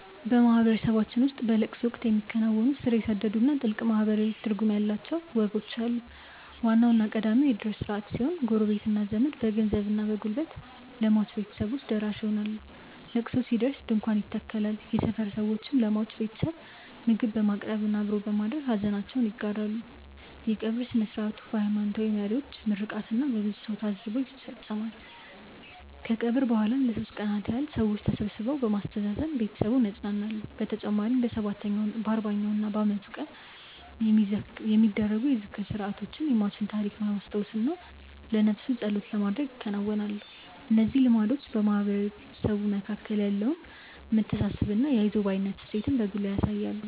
በማህበረሰባችን ውስጥ በለቅሶ ወቅት የሚከናወኑ ስር የሰደዱና ጥልቅ ማህበራዊ ትርጉም ያላቸው ወጎች አሉ። ዋናውና ቀዳሚው የእድር ስርዓት ሲሆን፣ ጎረቤትና ዘመድ በገንዘብና በጉልበት ለሟች ቤተሰቦች ደራሽ ይሆናሉ። ለቅሶ ሲደርስ ድንኳን ይተከላል፣ የሰፈር ሰዎችም ለሟች ቤተሰብ ምግብ በማቅረብና አብሮ በማደር ሐዘናቸውን ይጋራሉ። የቀብር ሥነ ሥርዓቱ በሃይማኖታዊ መሪዎች ምርቃትና በብዙ ሰው ታጅቦ ይፈጸማል። ከቀብር በኋላም ለሦስት ቀናት ያህል ሰዎች ተሰብስበው በማስተዛዘን ቤተሰቡን ያጸናናሉ። በተጨማሪም በሰባተኛው፣ በአርባኛውና በዓመቱ የሚደረጉ የዝክር ሥርዓቶች የሟችን ታሪክ ለማስታወስና ለነፍሱ ጸሎት ለማድረግ ይከናወናሉ። እነዚህ ልማዶች በማህበረሰቡ መካከል ያለውን መተሳሰብና የአይዞህ ባይነት እሴትን በጉልህ ያሳያሉ።